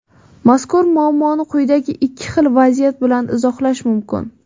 Mazkur muammoni quyidagi ikki xil vaziyat bilan izohlash mumkin.